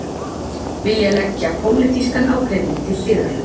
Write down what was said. Vilja leggja pólitískan ágreining til hliðar